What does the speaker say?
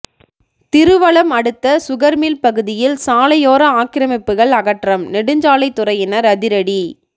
திருவலம் அடுத்த சுகர்மில் பகுதியில் சாலையோர ஆக்கிரமிப்புகள் அகற்றம் நெடுஞ்சாலை துறையினர் அதிரடி